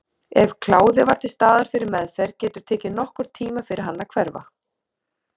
Ef kláði var til staðar fyrir meðferð getur tekið nokkurn tíma fyrir hann að hverfa.